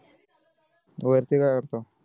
मी वरती काय करतो